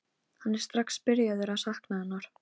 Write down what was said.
Hann er strax byrjaður að sakna hennar.